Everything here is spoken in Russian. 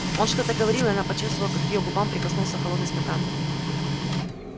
он что-то говорил и она почувствовала как к её губам прикоснулся холодный стакан